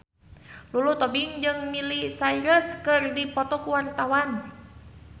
Lulu Tobing jeung Miley Cyrus keur dipoto ku wartawan